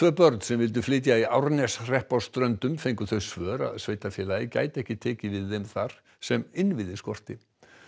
börn sem vildu flytja í Árneshrepp á Ströndum fengu þau svör að sveitarfélagið gæti ekki tekið við þeim þar sem innviði skorti